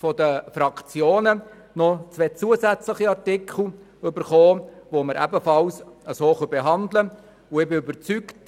Von den Fraktionen haben wir noch zwei zusätzliche Artikel erhalten, die wir ebenfalls so behandeln können.